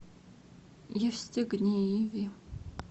евстигнееве